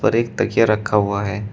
एक तकिया रखा हुआ है।